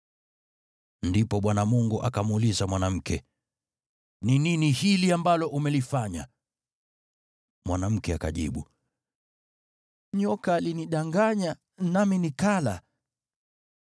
Ndipo Bwana Mungu akamuuliza mwanamke, “Ni nini hili ambalo umelifanya?” Mwanamke akajibu, “Nyoka alinidanganya, nami nikala.”